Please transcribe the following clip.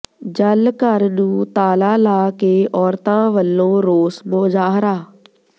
ਜਲ ਘਰ ਨੂੰ ਤਾਲਾ ਲਾ ਕੇ ਔਰਤਾਂ ਵੱਲੋਂ ਰੋਸ ਮੁਜ਼ਾਹਰਾ